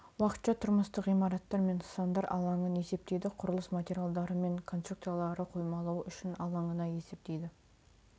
уақытша тұрмыстық ғимараттар мен нысандар алаңын есептейді құрылыс материалдары мен конструкциялары қоймалауы үшін алаңына есептейді